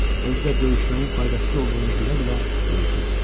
Özü də döyüşməyin faydasız olduğunu bilə-bilə döyüşürdü.